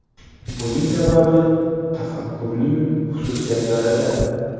Buning sababi tafakkurning xususiyatlarida.